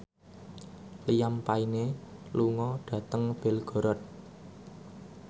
Liam Payne lunga dhateng Belgorod